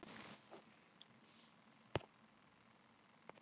Hvaða saga er það?